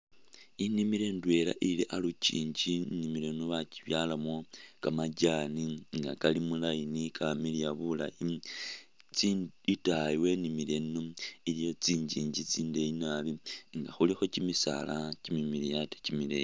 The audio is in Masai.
Inimilo ndwela ili alukyinji, inimilo yino bakyibyalamo ka majaani nga kali mu line ka miliya bulayi itayi wenimilo eno iliyo tsi njinji tsindeyi naabi nga khulikho kyimisaala kyimimiliyu ate kyimileyi.